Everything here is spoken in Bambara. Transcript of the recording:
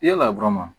Yala dɔrɔn